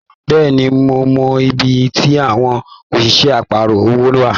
Bẹ́ẹ̀ni, mo mọ ibí tí àwọn òṣìṣẹ́ àparọ̀ owó wa.